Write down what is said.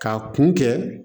K'a kun kɛ